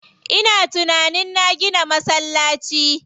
Ina tunanin na gina masallaci.